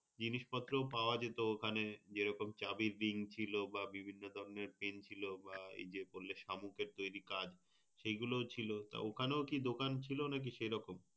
জিনিসপত্র পাওয়া যেত ওখানে। যে রকম চাবির ring ছিল বা বিভিন্ন ধরনের pen ছিল বা এইযে বললে শামুখের তৈরী কাজ সেইগুলো ছিল। তা ঐখানেও দোকান ছিল নাকি সেই রকম?